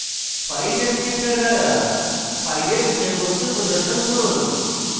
file descriptors দ্বারা file বিষয়বস্তু প্রদর্শন করুন